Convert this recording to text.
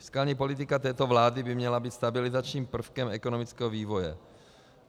Fiskální politika této vlády by měla být stabilizačním prvkem ekonomického vývoje.